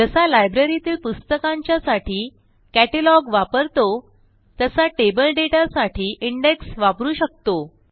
जसा लायब्ररीतील पुस्तकांच्यासाठी कॅटलॉग वापरतो तसा टेबल डेटासाठी इंडेक्स वापरू शकतो